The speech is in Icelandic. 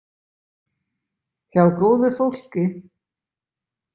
Hjá góðu fólki.